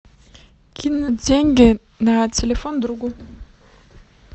кинуть деньги на телефон другу